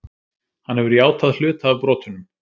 Hann hefur játað hluta af brotunum